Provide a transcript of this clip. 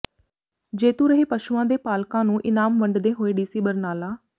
ਜੇਤੂ ਰਹੇ ਪਸ਼ੂਆਂ ਦੇ ਪਾਲਕਾਂ ਨੂੰ ਇਨਾਮ ਵੰਡਦੇ ਹੋਏ ਡੀਸੀ ਬਰਨਾਲਾ